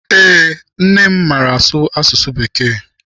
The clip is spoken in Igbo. Eé, nne m maara asụ asụsụ bekee.